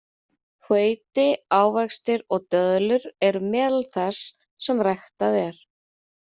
Hveiti, ávextir og döðlur eru meðal þess sem ræktað er.